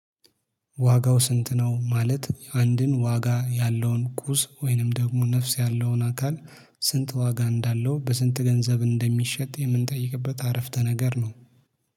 ዋጋው ስንት ነው? ማለት አንድን ዋጋ ያለውን ቁስ ወይንም ደግሞ ነፍስ ያለውን አካል ስንት ዋጋ እንዳለው በስንት ገንዘብ እንደሚሸጥ የምንጠይቅበት አረፍተ ነገር ነው።